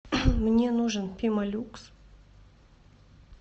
мне нужен пемолюкс